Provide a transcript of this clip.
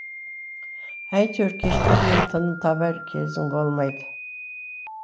әйтеуір кешке дейін тыным табар кезің болмайды